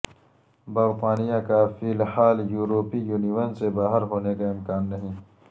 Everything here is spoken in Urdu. برطانیہ کا فی الحال یوروپی یونین سے باہر ہونے کا امکان نہیں